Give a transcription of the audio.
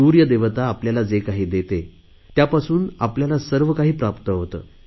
सुर्यदेवता आपल्याला जे काही देते त्यापासूनच आपल्याला सर्व काही प्राप्त होते